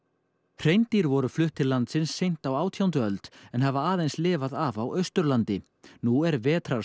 hreindýr voru flutt til landsins seint á átjándu öld en hafa aðeins lifað af á Austurlandi nú er